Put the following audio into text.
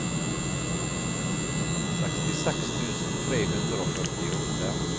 sekstiseks tusen tre hundre og førtiåtte